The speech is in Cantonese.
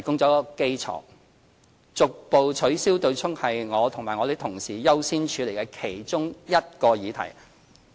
逐步取消對沖是我和我同事優先處理的其中一個議題。